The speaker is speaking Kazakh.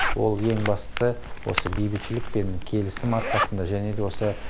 ол ең бастысы осы бейбітшілік пен келісім арқасында және де осы